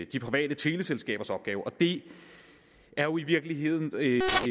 de private teleselskabers opgave det er jo i virkeligheden